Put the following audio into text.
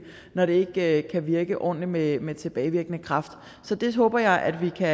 når det ikke kan virke ordentligt med med tilbagevirkende kraft så det håber jeg at vi kan